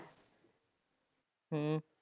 ਹਮ